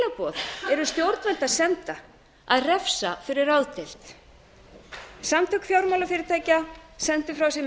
skilaboð eru stjórnvöld að senda að refsa fyrir ráðdeild samtök fjármálafyrirtækja sendu frá sér